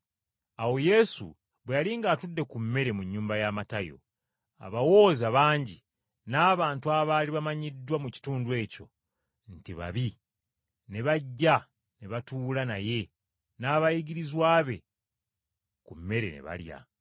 Awo Yesu bwe yali ng’atudde ku mmere mu nnyumba ya Matayo, abawooza bangi n’abantu abaali bamanyiddwa mu kitundu ekyo nti babi ne bajja ne batuula naye n’abayigirizwa be ku mmere ne balya.